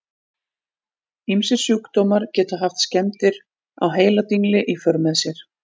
Ýmsir sjúkdómar geta haft skemmdir á heiladingli í för með sér.